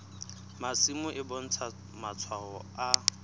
masimo e bontsha matshwao a